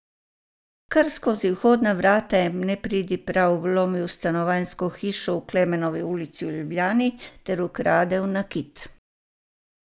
Kar skozi vhodna vrata je nepridiprav vlomil v stanovanjsko hišo v Klemenovi ulici v Ljubljani ter ukradel nakit.